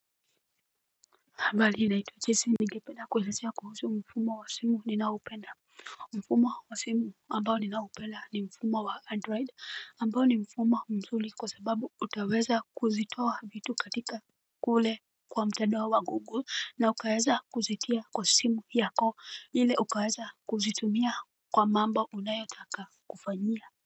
Habari, naitwa jesse ningependa kuelezea kuhusu mfumo wa ninaopenda. Mfumo wa simu ambao ninaupenda ni mfumo wa android ambao ni mfumo mzuri kwa sababu utaweza kuzitoa vitu katika kule mtandao wa google na ukaweza kuzitia kwa simu yako ili ukaweza kuzitumia kwa mambo unayotaka kufanyia. Kwa hivyo.